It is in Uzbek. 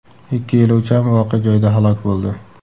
Ikki yo‘lovchi ham voqea joyida halok bo‘ldi.